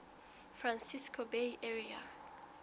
francisco bay area